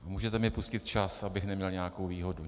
Můžete mi pustit čas, abych neměl nějakou výhodu.